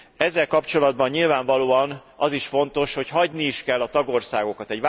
Ezzel kapcsolatban nyilvánvalóan az is fontos, hogy hagyni is kell a tagországokat.